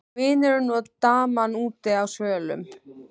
Vinurinn og daman úti á svölum.